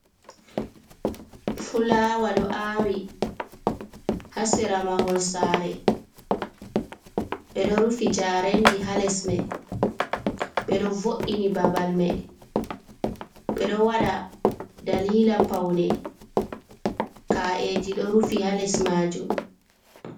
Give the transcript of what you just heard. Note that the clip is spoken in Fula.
Fulawa do aawi ha sera mahol sare, be do rufi jarendi ha lesmai be do vo’’ini babal mai be do wada dalila paune ka’eji do rufi ha les majum.